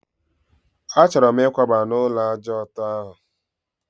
A chọrọ m ikwaba n'ulo ájá ọtọ ahụ